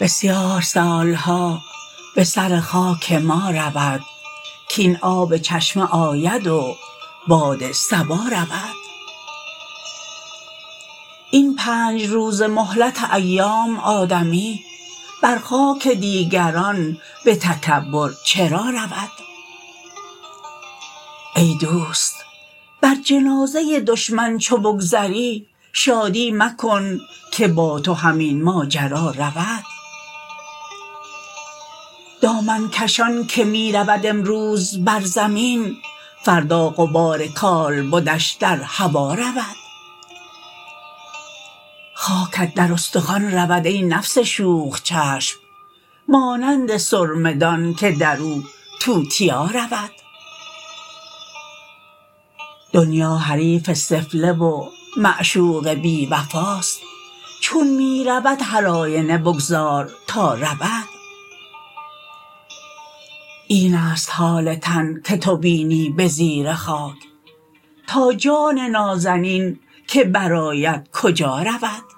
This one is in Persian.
بسیار سالها به سر خاک ما رود کاین آب چشمه آید و باد صبا رود این پنج روزه مهلت ایام آدمی بر خاک دیگران به تکبر چرا رود ای دوست بر جنازه دشمن چو بگذری شادی مکن که با تو همین ماجرا رود دامن کشان که می رود امروز بر زمین فردا غبار کالبدش در هوا رود خاکت در استخوان رود ای نفس شوخ چشم مانند سرمه دان که در او توتیا رود دنیا حریف سفله و معشوق بی وفاست چون می رود هر آینه بگذار تا رود این است حال تن که تو بینی به زیر خاک تا جان نازنین که بر آید کجا رود